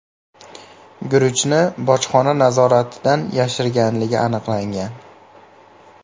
guruchni bojxona nazoratidan yashirganligi aniqlangan.